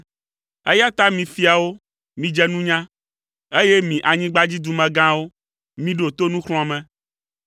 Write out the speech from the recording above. Eya ta mi fiawo, midze nunya, eye mi anyigbadzidumegãwo, miɖo to nuxlɔ̃ame.